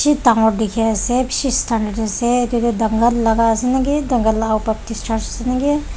bishi dangor dikhi ase bishi standard ase etu teh duncan laga ase na ki duncan lah ao baptist church ase na ki.